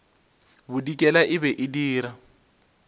bodikela e be e dira